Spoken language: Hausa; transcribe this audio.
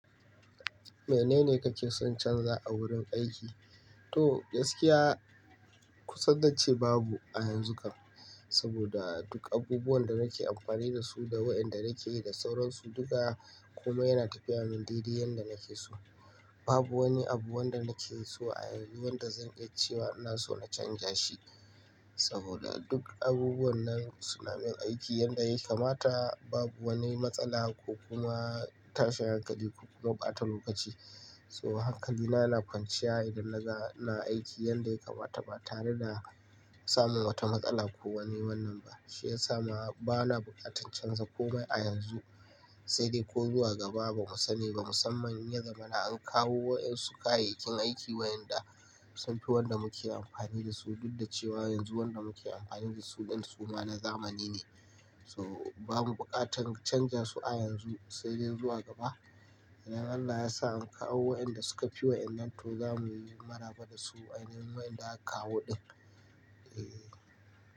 Menene kake son canza a wurin aiki? To, gaskiya ku sanda ce babu a yanzu kam, saboda duk abubuwan da nake amfani da su da wayanda nake yi da sauransu duka kuma yana tafiya min daidai yanda nake so. Babu woni abu wanda nake so a yanzu wanda zan iya cewa ina son a canja shi, saboda duk abubuwan nan suna min aiki yanda ya kamata. Babu woni matsala ko kuma tashin hankali ko bata lokaci. So hankali na na kwanciya idan naga ina aiki yanda ya kamata ba tare da samun wata matsala ko wani wannan ba. Shi ya sa ma bana buƙatar canza komai a yanzu, sai dai ko zuwa gaba bamu sani ba. Musamman in ya zamana an kawo wayan su kayayyakin aiki wayanda sun fi wanda muke amfani da su. Dudda cewa yanzu wanda muke amfani da su ɗin su ma na zamani ne. So babu buƙatar canja su a yanzu sai dai zuwa gaba. Idon Allah ya sa an kawo wayanda suka fi wayannan to zamu yi maraba da su ainihin wayanda aka kawo ɗin. Eeh.